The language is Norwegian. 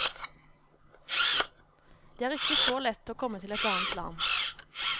Det er ikke så lett å komme til et annet land.